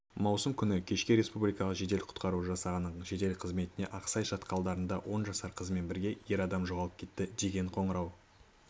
маусым күні кешке республикалық жедел құтқару жасағының жедел қызметіне ақсай шатқалдарында он жасар қызымен бірге ер адам жоғалып кетті деген қоңырау